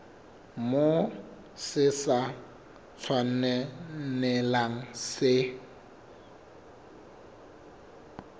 moo se sa tshwanelang se